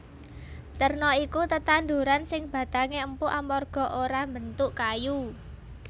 Terna iku tetanduran sing batangé empuk amarga ora mbentuk kayu